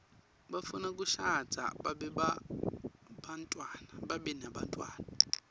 bafuna kushadza babe nebantfwana